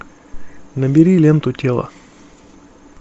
набери ленту тело